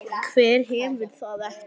Hver hefur það ekki?